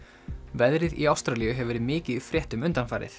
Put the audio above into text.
veðrið í Ástralíu hefur verið mikið í fréttum undanfarið